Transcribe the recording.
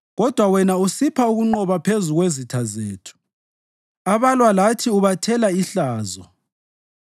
kodwa wena usipha ukunqoba phezu kwezitha zethu, abalwa lathi ubathela ihlazo.